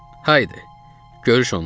Haydi, görüş onunla.